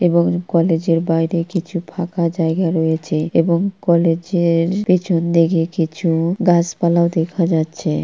এবং কলেজ -এর বাইরে কিছু ফাঁকা জায়গা রয়েছে এবং কলেজ - এর পেছনদি-কে কিছু গাছপালাও দেখা যাচ্ছে।